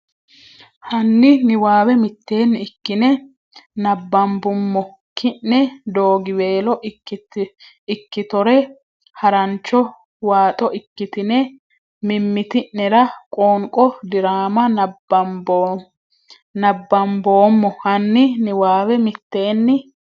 hanni niwaawe mitteenni ikkine nabbambummo ki ne Doogiweelo ikkitore harancho waaxo ikkitine mimmiti nera qoonqo diraama nabbamboommo hanni niwaawe mitteenni.